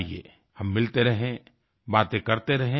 आइये हम मिलते रहे बातें करते रहे